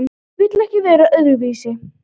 Vill ekki vera öðruvísi.